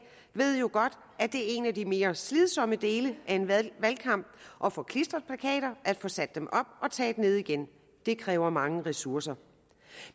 ved jo godt at det er en af de mere slidsomme dele af en valgkamp at få klistret plakater at få dem sat op og taget ned igen det kræver mange ressourcer